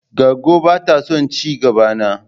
Goggo ba ta son ci gaba na.